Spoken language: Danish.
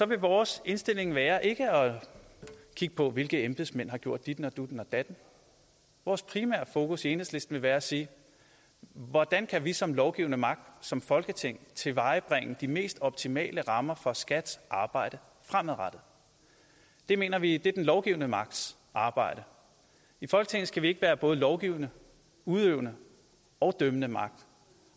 vil vores indstilling være ikke at kigge på hvilke embedsmænd der har gjort ditten og dutten og datten vores primære fokus i enhedslisten vil være at sige hvordan kan vi som lovgivende magt som folketing tilvejebringe de mest optimale rammer for skats arbejde fremadrettet det mener vi er den lovgivende magts arbejde i folketinget skal vi ikke være både lovgivende udøvende og dømmende magt